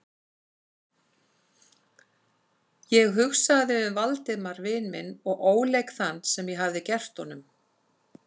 Ég hugsaði um Valdimar vin minn og óleik þann, sem ég hafði gert honum.